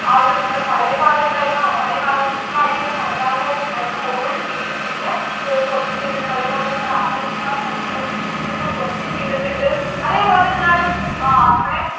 ആ ഒരു നമ്മുടെ പഴയ കാലം ഉണ്ടായിരുന്ന പഴയ കാലങ്ങളായിട്ട് ഇവിടെ പരമ്പരാഗതമായിട്ട് ഉണ്ടായിരുന്ന old beliefs നേ ഒക്കെ question ചെയ്തിട്ടുണ്ട് അതേപോലെ തന്നെ നമ്മടെ അന്ധവിശ്വാസങ്ങള്‍ superstitious ഒക്കെ question ചെയ്‌തിട്ടിട്ടുണ്ട് അതെ പോലെ തന്നെ എന്താണ് ആ നമ്മടെ